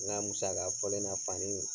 N ka musa ka fɔlɔ na